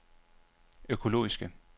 økologiske